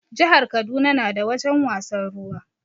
Jihar Kaduna na da wajen wasan ruwa